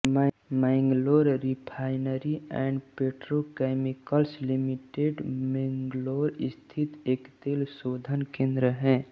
Mangalore refinery and petrochemicals limited Mangalore स्थित एक तेल शोधन केन्द्र है